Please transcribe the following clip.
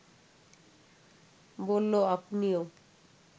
বলল, আপনিও